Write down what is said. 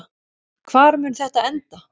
Hvar mun þetta enda?